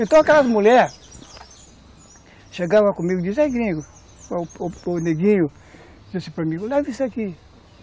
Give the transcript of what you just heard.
Então aquelas mulheres chegavam comigo e diziam, ei gringo, o neguinho disse para mim, leve isso aqui.